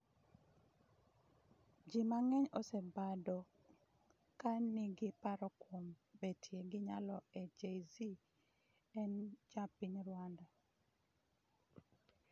Ji mang'eny osebado ka nigi paro kuom betie gi nyalo n Jay-Z en ja piny Rwanda